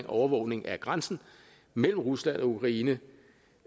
overvågning af grænsen mellem rusland og ukraine